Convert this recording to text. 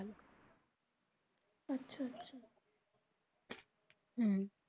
হম